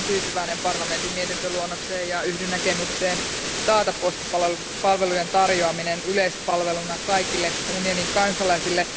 Olen tyytyväinen parlamentin mietintöluonnokseen ja yhdyn näkemykseen taata postipalvelujen tarjoaminen yleispalveluna kaikille unionin kansalaisille.